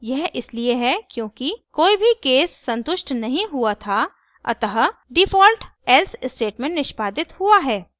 यह इसलिए है क्योंकि कोई भी case संतुष्ट नहीं हुआ था अतः डिफ़ॉल्ट else स्टेटमेंट निष्पादित हुआ है